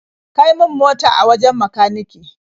Kai min mota ta wajen makanike.